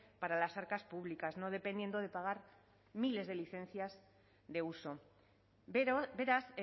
para las arcas públicas no dependiendo de pagar miles de licencias de uso beraz